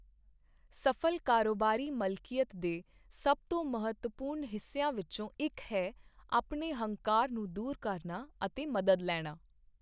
ਸਫ਼ਲ ਕਾਰੋਬਾਰੀ ਮਲਕੀਅਤ ਦੇ ਸਭ ਤੋਂ ਮਹੱਤਵਪੂਰਨ ਹਿੱਸਿਆਂ ਵਿੱਚੋਂ ਇੱਕ ਹੈ ਆਪਣੇ ਹੰਕਾਰ ਨੂੰ ਦੂਰ ਕਰਨਾ ਅਤੇ ਮਦਦ ਲੈਣਾ।